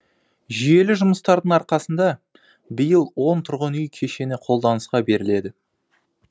жүйелі жұмыстардың арқасында биыл он тұрғын үй кешені қолданысқа беріледі